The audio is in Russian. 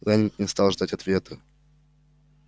лэннинг не стал ждать ответа